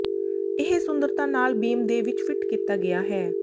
ਇਹ ਸੁੰਦਰਤਾ ਨਾਲ ਬੀਮ ਦੇ ਵਿਚ ਫਿੱਟ ਕੀਤਾ ਗਿਆ ਹੈ